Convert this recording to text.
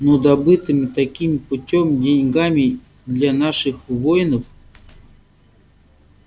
ну добытыми таким путём деньгами для наших воинов